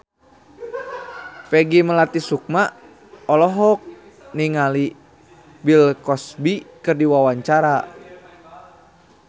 Peggy Melati Sukma olohok ningali Bill Cosby keur diwawancara